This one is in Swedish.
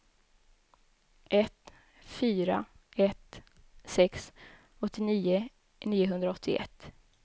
ett fyra ett sex åttionio niohundraåttioett